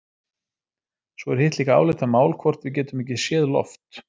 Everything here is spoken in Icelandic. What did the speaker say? Svo er hitt líka álitamál hvort við getum ekki séð loft.